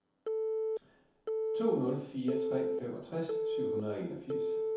to nul fire tre femogtres syv hundrede og enogfirs